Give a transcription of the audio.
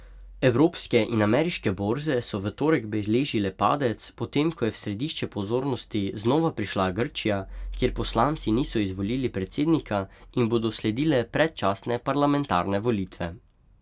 Evropske in ameriške borze so v torek beležile padec, potem ko je v središče pozornosti znova prišla Grčija, kjer poslanci niso izvolili predsednika in bodo sledile predčasne parlamentarne volitve.